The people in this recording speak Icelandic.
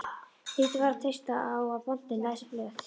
Lítið var að treysta á að bóndinn læsi blöð.